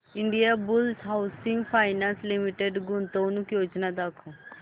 Indiabulls housing finance limited गुंतवणूक योजना दाखव